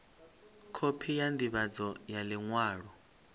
khophi ya ndivhadzo ya liṅwalo